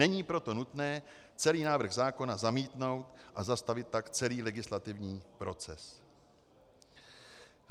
Není proto nutné celý návrh zákona zamítnout a zastavit tak celý legislativní proces.